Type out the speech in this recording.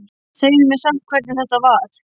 Segðu mér samt hvernig þetta var.